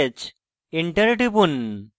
enter টিপুন